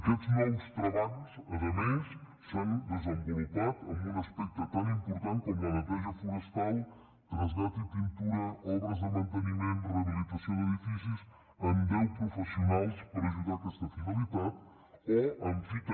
aquests nous treballs a més s’han desenvolupat en un aspecte tan important com la neteja forestal trasllat i pintura obres de manteniment rehabilitació d’edificis amb deu professionals per ajudar a aquesta finalitat o amb fi també